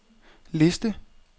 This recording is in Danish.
liste